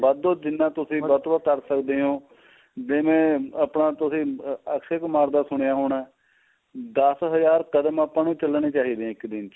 ਵੱਧ ਤੋਂ ਵੱਧ ਜਿੰਨਾ ਤੁਸੀਂ ਵੱਧ ਕਰ ਸਕਦੇ ਓ ਜਿਵੇਂ ਆਪਣਾ ਤੁਸੀਂ ਅਕਸ਼ੇ ਕੁਮਾਰ ਦਾ ਸੁਣਿਆ ਹੋਣਾ ਦੱਸ ਹਜ਼ਾਰ ਕਦਮ ਆਪਾਂ ਨੂੰ ਚੱਲਣੇ ਚਾਹੀਦੇ ਏ ਇੱਕ ਦਿਨ ਚ